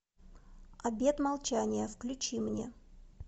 обет молчания включи мне